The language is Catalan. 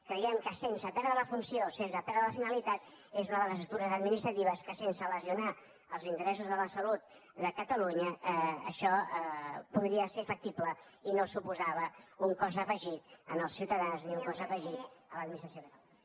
creiem que sense perdre la funció sense perdre la finalitat és una de les estructures administratives que sense lesionar els interessos de la salut de catalunya això podria ser factible i no suposava un cost afegit als ciutadans ni un cost afegit a l’administració catalana